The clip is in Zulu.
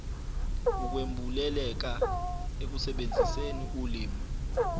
ukwembuleleka ekusebenziseni ulimi